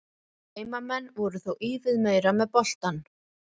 Heimamenn voru þó ívið meira með boltann.